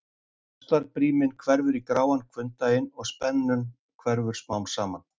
Ástarbríminn hverfur í gráan hvunndaginn og spennan hverfur smám saman.